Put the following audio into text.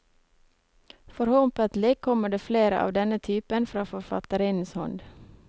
Forhåpentlig kommer det flere av denne typen fra forfatterinnens hånd.